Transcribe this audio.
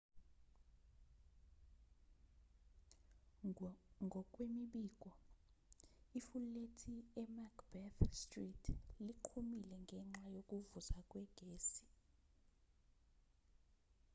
ngokwemibiko ifulethi emacbeth street liqhumile ngenxa yokuvuza kwegesi